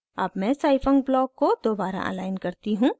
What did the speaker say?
अब मैं scifunc block को दोबारा अलाइन करती हूँ